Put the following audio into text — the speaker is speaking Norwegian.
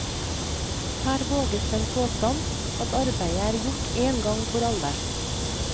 Her våges den påstand at arbeidet er gjort én gang for alle.